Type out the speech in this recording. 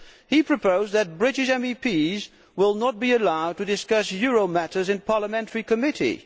He proposed that British MEPs should not be allowed to discuss euro matters in parliamentary committee.